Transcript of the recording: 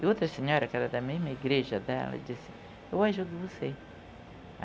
E outra senhora, que era da mesma igreja dela, disse, eu ajudo você.